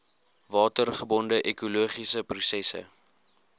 watergebonde ekologiese prosesse